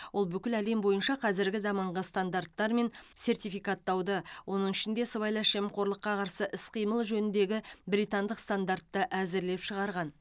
ол бүкіл әлем бойынша қазіргі заманғы стандарттар мен сертификаттауды оның ішінде сыбайлас жемқорлыққа қарсы іс қимыл жөніндегі британдық стандартты әзірлеп шығарған